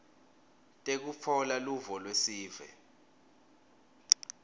tekutfola luvo lwesive